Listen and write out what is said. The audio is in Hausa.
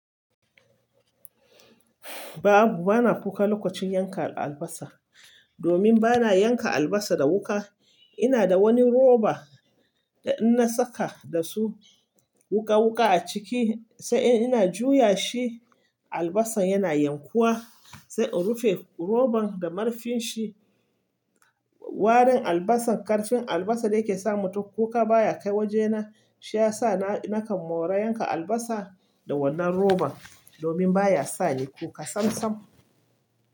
Babu, bana kuka lokacin yanka albasa. Domin bana yanka albasa da wuka, ina da wani roba da in na saka da su wuka wuka a ciki sai ina juya shi albasan yana yankuwa sai in rufe roban da marfin shi. Warin albasan, karfin albasa da yake sa mutum kuka baya kai wajena. Shiyasa na nakan mora yanka albasa da wannan roban domin baya sani kuka sam sam.